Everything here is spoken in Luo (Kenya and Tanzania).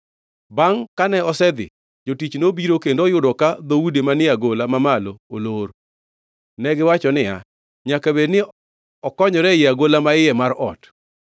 Bangʼ kane osedhi, jotich nobiro kendo oyudo ka dhoudi manie agola mamalo olor. Negiwacho niya, “Nyaka bed ni okonyore e agola ma iye mar ot.”